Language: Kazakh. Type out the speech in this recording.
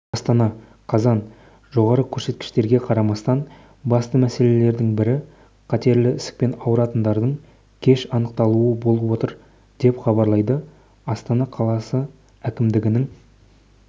астана қазан жоғары көрсеткіштерге қарамастан басты мәселеледің бірі қатерлі ісікпен ауыратындардың кеш анықталуы болып отыр деп хабарлайды астана қаласы әкімдігінң